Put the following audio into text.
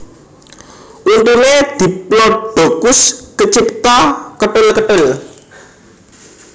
Untuné diplodocus kecipta ketul ketul